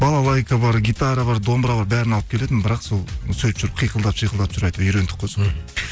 балалайка бар гитара бар домбыра бар бәрін алып келетін бірақ сол сөйтіп жүріп қиқылдатып шиқылдатып жүріп әйтеуір үйрендік қой соны